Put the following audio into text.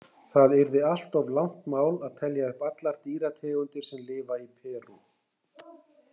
Það yrði allt of langt mál að telja upp allar dýrategundir sem lifa í Perú.